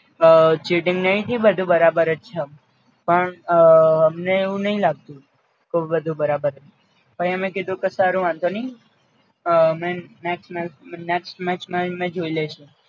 અ cheating નઇ થી બધુ બરાબર જ છે પણ અ અમને એવું નઇ લાગતું ક બધુ બરાબર પઈ અમે કીધું કે સર વાંધો નઇ next match next match માં અમે જોઈ લેસું